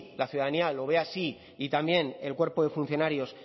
la ciudadanía lo ve así y también el cuerpo de funcionarios